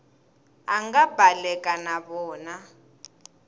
a nga baleka na vona